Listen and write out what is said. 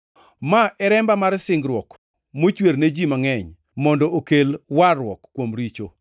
Ma e remba mar singruok, mochwer ne ji mangʼeny mondo okel warruok kuom richo.